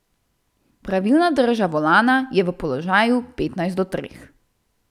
Pravilna drža volana je v položaju petnajst do treh.